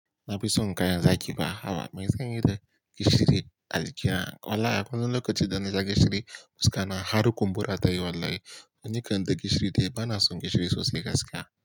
Na fi son kayan zaki ba. Haba, me zan yi da gishiri? A jikina wallahi, akwai wani lokacin da na sha gishiri, fuska na har kumɓura ta yi wallahi. Ni kan da gishiri dai, ba na son gishiri sosai gaskiya.